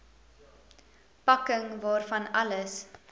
pakking waarvan alles